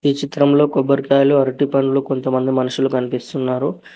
ఈ చిత్రంలో కొబ్బరికాయలు అరటిపండ్లు కొంతమంది మనుషులు కనిపిస్తున్నారు.